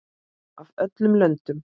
Af öllum löndum.